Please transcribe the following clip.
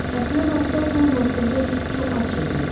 Əslinə qalsa taun haqqında biz çox az şey bilirik.